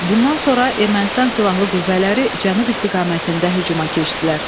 Bundan sonra Ermənistan silahlı qüvvələri cənub istiqamətində hücuma keçdilər.